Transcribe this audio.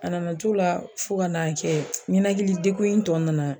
A nana t'o la fo ka n'a kɛ, ɲɛnɛkili degun in tɔ nana.